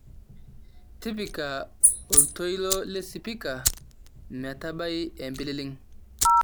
tipika oltoilo lesipika metabai empililing'